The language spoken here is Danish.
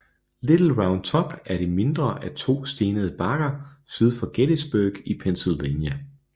Little Round Top er det mindre af to stenede bakker syd for Gettysburg i Pennsylvania